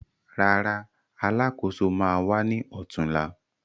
Rárá, Alákóso ma wá ní ọ̀túnla